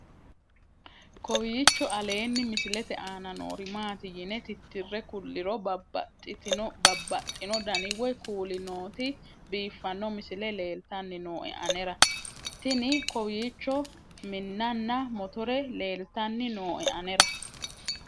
kowiicho aleenni misilete aana noori maati yine titire kulliro babaxino dani woy kuuli nooti biiffanno misile leeltanni nooe anera tino kowiicho minnanna motore leeltanni nooe anera